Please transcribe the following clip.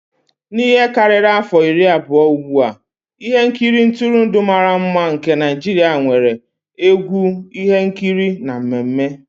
N'ihe karịrị afọ iri abụọ ugbu a, ihe nkiri ntụrụndụ mara mma nke Naijiria nwere egwu, ihe nkiri na mmemme.